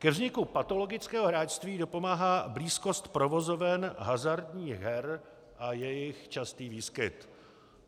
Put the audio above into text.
Ke vzniku patologického hráčství dopomáhá blízkost provozoven hazardních her a jejich častý výskyt.